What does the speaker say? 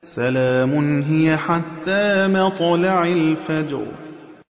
سَلَامٌ هِيَ حَتَّىٰ مَطْلَعِ الْفَجْرِ